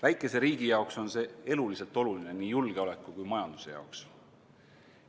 Väikese riigi jaoks on see eluliselt oluline, nii julgeoleku kui ka majanduse jaoks.